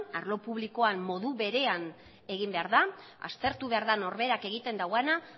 arlo publikoan modu berean egin behar da aztertu behar da norberak egiten duena